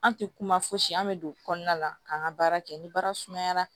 An tɛ kuma fosi an bɛ don kɔnɔna la k'an ka baara kɛ ni baara sumayara